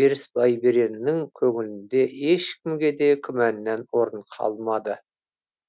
берісбайбереннің көңілінде ешкімгеде күмәннән орын қалмады